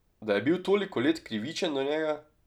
Da je bil toliko let krivičen do njega?